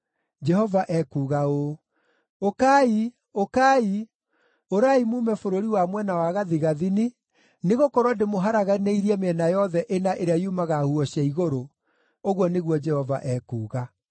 Jehova ekuuga ũũ, “Ũkai, ũkai! Ũrai muume bũrũri wa mwena wa gathigathini, nĩgũkorwo ndĩmũharaganĩirie mĩena yothe ĩna ĩrĩa yumaga huho cia igũrũ,” ũguo nĩguo Jehova ekuuga.